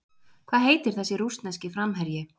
Hvað heitir þessi rússneski framherji?